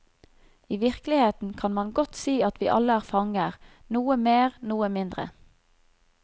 I virkeligheten kan man godt si at vi alle er fanger, noe mer, noen mindre.